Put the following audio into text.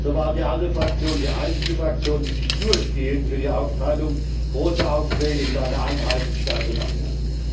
So war die ALDE Fraktion die einzige Fraktion, die sich durchgehend für die Aufteilung großer Aufträge in kleine Einheiten stark gemacht hat.